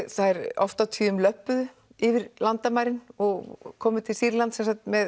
þær oft á tíðum löbbuðu yfir landamærin og komu til Sýrlands